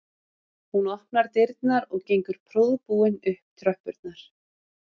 Hún opnar dyrnar og gengur prúðbúin upp tröppurnar